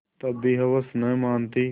तब भी हवस नहीं मानती